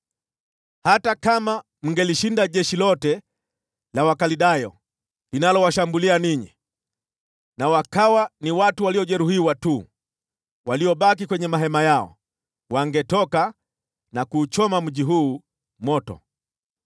Hata kama mngelishinda jeshi lote la Wakaldayo linalowashambulia ninyi, na wakawa ni watu waliojeruhiwa tu waliobaki kwenye mahema yao, wangetoka na kuuchoma mji huu moto.”